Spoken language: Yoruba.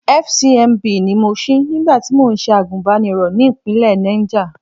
FCMB ni mo ṣí nígbà tí mò ń ṣe àgùnbánirọ̀ ní ìpínlẹ̀ Náìjà.